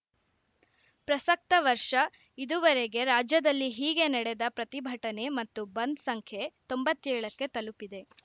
ಪ್ರಸಕ್ತ ವರ್ಷ ಇದುವರೆಗೆ ರಾಜ್ಯದಲ್ಲಿ ಹೀಗೆ ನಡೆದ ಪ್ರತಿಭಟನೆ ಮತ್ತು ಬಂದ್‌ ಸಂಖ್ಯೆ ತೊಂಬತ್ತೇಳಕ್ಕೆ ತಲುಪಿದೆ